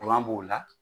b'o la